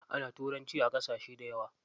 Ana turanci a ƙasashe dayawa.